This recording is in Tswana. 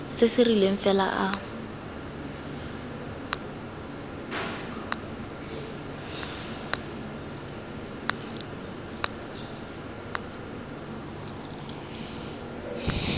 se se rileng fela a